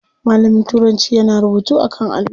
Malamin turanci yana rubutu a kan allo.